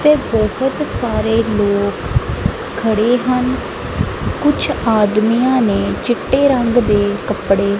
ਤੇ ਬਹੁਤ ਸਾਰੇ ਲੋਕ ਖੜੇ ਹਨ ਕੁਛ ਆਦਮੀਆਂ ਨੇ ਚਿੱਟੇ ਰੰਗ ਦੇ ਕੱਪੜੇ--